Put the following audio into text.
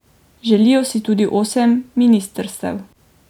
Želijo si tudi osem ministrstev.